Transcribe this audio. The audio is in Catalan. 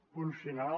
punt final